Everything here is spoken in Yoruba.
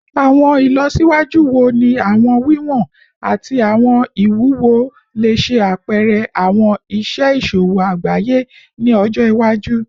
Awọn ilọsiwaju wo ni awọn wiwọn ati awọn iwuwo le ṣe apẹrẹ awọn iṣe iṣowo agbaye ni ọjọ iwaju?